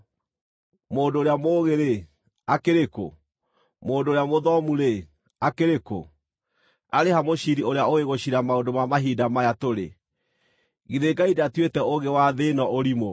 Mũndũ ũrĩa mũũgĩ-rĩ, akĩrĩ kũ? Mũndũ ũrĩa mũthomu-rĩ, akĩrĩ kũ? Arĩ ha mũciiri ũrĩa ũũĩ gũciira maũndũ ma mahinda maya tũrĩ? Githĩ Ngai ndatuĩte ũũgĩ wa thĩ ĩno ũrimũ?